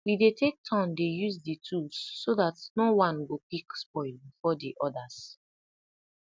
we dey take turn dey use di tools so dat no one go quick spoil before di others